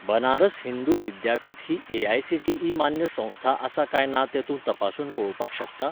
बनारस हिंदू विद्यापीठ ही एआयसीटीई मान्य संस्था आसा काय ना तें तूं तपासून पळोवपाक शकता?